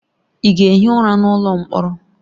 Ị ga-ehi ụra n'ụlọ mkpọrọ!